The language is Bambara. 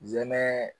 Zɛɛ